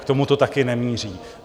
K tomu to také nemíří.